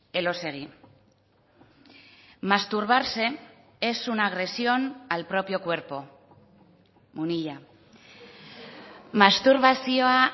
elósegui masturbarse es una agresión al propio cuerpo munilla masturbazioa